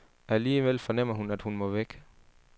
Alligevel fornemmer hun, at hun må væk.